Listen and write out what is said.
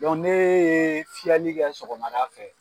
Dɔn nee ye fiyɛli kɛ sɔgɔmada fɛ